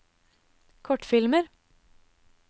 kortfilmer